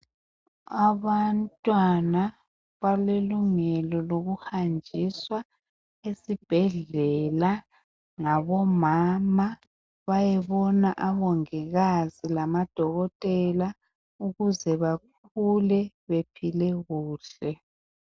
Abantwana, balelungelo lokuhanjiswa esibhedlela ngabomama, bayebona omongikazi labodokotela ukuze bakhule, bephile kuhle.